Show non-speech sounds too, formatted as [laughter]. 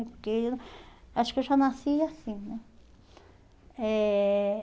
[unintelligible] Acho que eu já nasci assim, né? Eh